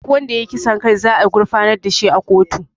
Duk wanda ya yi kisan kai za a gurfanar da shi a kotu